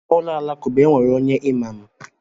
Na ụlọ alakụba, e nwere onye imam.